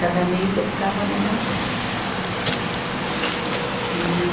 Cada mês eu ficava numa agência, né? E